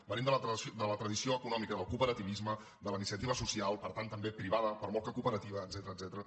venim de la tradició econòmica del cooperativisme de la iniciativa social per tant també privada per molt que cooperativa etcètera